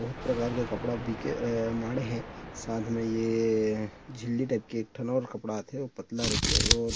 बोहत प्रकार के कपड़ा बीके ए माढ़े हे साथ में ये अ झिल्ली टाइप के एक ठन के और कपड़ा आथे ओ पतला रथे और --